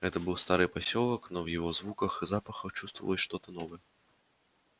это был старый посёлок перебравшийся на другое место но в его звуках и запахах чувствовалось что то новое